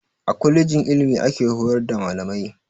A kwalejin ilimi ake horar da malamai